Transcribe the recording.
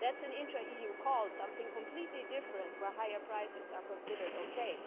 That's an intra-EU call something completely different where higher prices are considered okay.